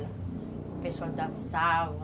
O pessoal dançava.